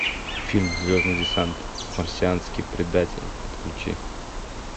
фильм звездный десант марсианский предатель подключи